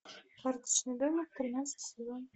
карточный домик тринадцатый сезон